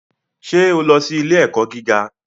Ṣé o lọ sí ilé-ẹ̀kọ́ gíga?